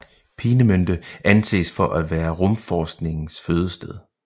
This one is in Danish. Peenemünde anses for at være rumforskningens fødested